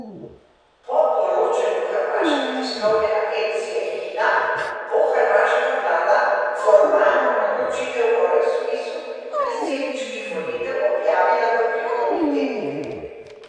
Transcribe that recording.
Po poročanju hrvaške tiskovne agencije Hina bo hrvaška vlada formalno odločitev o razpisu predsedniških volitev objavila v prihodnjih tednih.